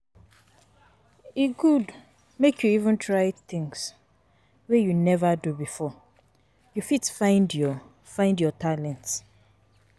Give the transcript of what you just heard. E good to try um things wey you neva do before, you fit find your find your talent.